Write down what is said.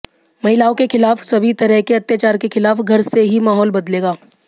महिलाओं के खिलाफ सभी तरह के अत्याचार के खिलाफ घर से ही माहौल बदलेगा